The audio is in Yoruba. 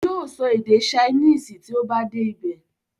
Yóò sọ èdè saínìsì tí ó bá dé ibẹ̀.